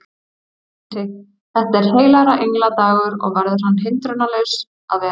Hún mælti: Þetta er heilagra engla dagur og verður hann hindrunarlaus að vera